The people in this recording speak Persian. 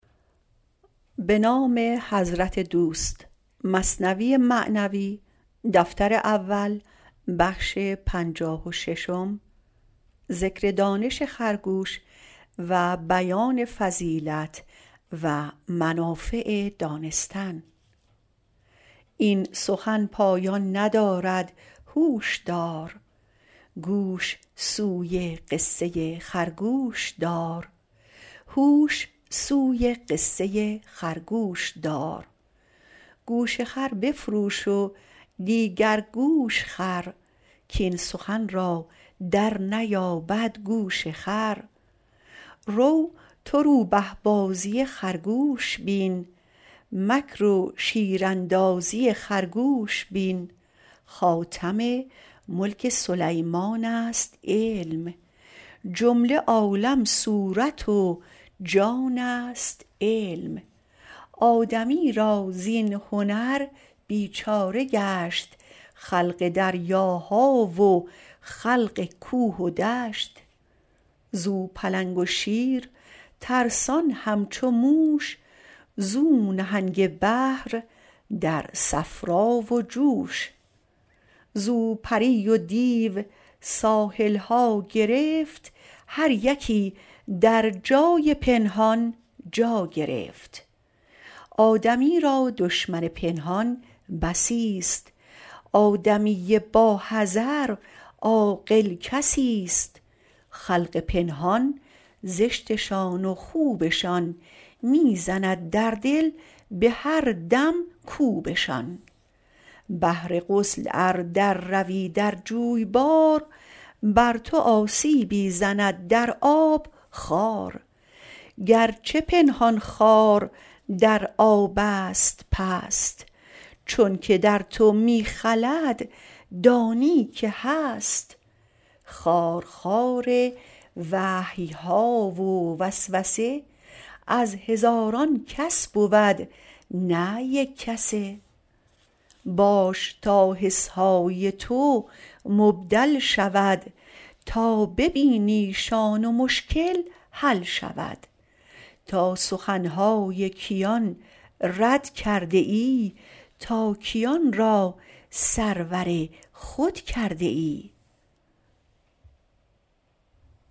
این سخن پایان ندارد هوش دار هوش سوی قصه خرگوش دار گوش خر بفروش و دیگر گوش خر کین سخن را در نیابد گوش خر رو تو روبه بازی خرگوش بین مکر و شیراندازی خرگوش بین خاتم ملک سلیمانست علم جمله عالم صورت و جانست علم آدمی را زین هنر بیچاره گشت خلق دریاها و خلق کوه و دشت زو پلنگ و شیر ترسان همچو موش زو نهنگ و بحر در صفرا و جوش زو پری و دیو ساحلها گرفت هر یکی در جای پنهان جا گرفت آدمی را دشمن پنهان بسی ست آدمی با حذر عاقل کسی ست خلق پنهان زشتشان و خوبشان می زند در دل به هر دم کوبشان بهر غسل ار در روی در جویبار بر تو آسیبی زند در آب خار گرچه پنهان خار در آبست پست چونک در تو می خلد دانی که هست خارخار وحیها و وسوسه از هزاران کس بود نه یک کسه باش تا حسهای تو مبدل شود تا ببینیشان و مشکل حل شود تا سخنهای کیان رد کرده ای تا کیان را سرور خود کرده ای